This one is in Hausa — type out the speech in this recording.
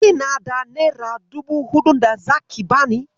Kina da nera dubu huɗun da zaki bani?